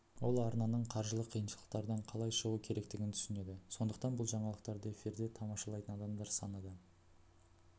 ол арнаның қаржылық қиыншылықтардан қалай шығу керектігін түсінеді сондықтан бұл жаңалықтарды эфирде тамашалайтын адамдар саны да